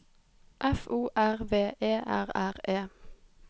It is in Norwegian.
F O R V E R R E